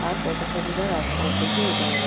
আর পথচারীরা রাস্তার ওপর দিয়ে হেঁটে বেড়ায়।